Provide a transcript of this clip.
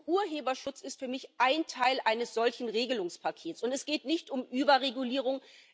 Und Urheberschutz ist für mich ein Teil eines solchen Regelungspakets. Es geht nicht um Überregulierung.